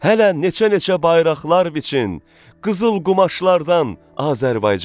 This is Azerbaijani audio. Hələ neçə-neçə bayraqlar biçin, qızıl qumaşlardan Azərbaycana.